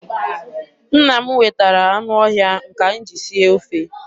Nna m wetara anụ ọhịa nke anyị ji sie ofe.